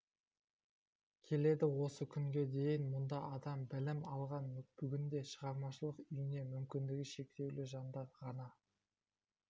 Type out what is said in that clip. келеді осы күнге дейін мұнда адам білім алған бүгінде шығармашылық үйіне мүмкіндігі шектеулі жандар ғана